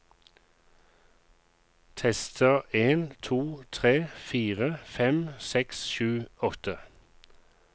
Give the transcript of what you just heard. Tester en to tre fire fem seks sju åtte